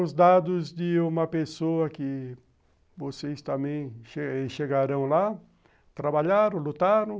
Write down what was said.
Os dados de uma pessoa que vocês também chegaram lá, trabalharam, lutaram,